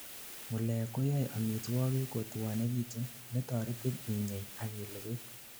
ngulek koyaei amitwogik kotwonegitun, netoretin inyei akilugui